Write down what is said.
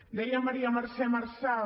deia maria mercè marçal